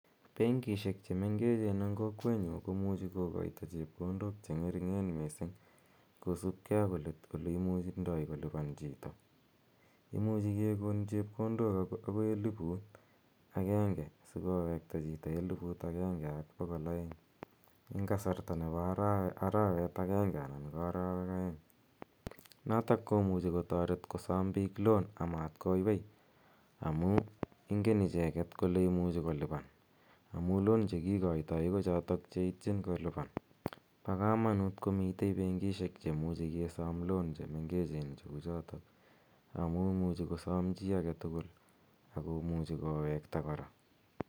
Benkishek che mengechen eng' kowetnyu komuchi kokaita chepkondok che ng'ering'en missing' kosupgei ak ole imuchindai kolipan chito. Imuch kekon chepkondok akot akoi eliput agenge siko wekta chito eliput agenge ak pokol eng' kasarta ne pa arawet agenge anan ko arawek aeng'. Notok ko muchi kotaret kosam piik loan amatkoywei amu ingen icheget kole imuchi kolipan amu loan chotok che kikaitai ko chotok che itchin kolipan. Pa kamanut komitei benkishek che muchi ke sam loan che mengechen cheu chotok amu imuchi kosam chi age tugul ak komuchi kowekta kora.